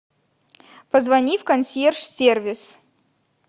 позвони в консьерж сервис